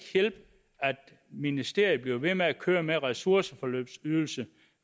hjælpe at ministeriet bliver ved med at køre med ressourceforløbsydelse